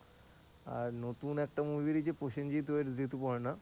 আর নতুন একটা movie বেরিয়েছে প্রসেনজিৎ weds ঋতুপর্ণা।